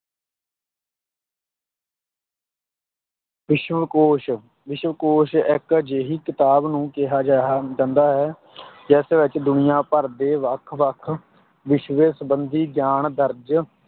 ਵਿਸ਼ਵਕੋਸ਼, ਵਿਸ਼ਵਕੋਸ਼ ਇੱਕ ਅਜਿਹੀ ਕਿਤਾਬ ਨੂੰ ਕਿਹਾ ਗਿਆ, ਜਾਂਦਾ ਹੈ ਜਿਸ ਵਿੱਚ ਦੁਨੀਆਂ ਭਰ ਦੇ ਵੱਖ-ਵੱਖ ਵਿਸ਼ਿਆਂ ਸੰਬੰਧੀ ਗਿਆਨ ਦਰਜ